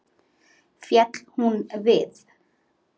Féll hún við.